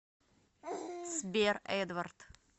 сбер эдвард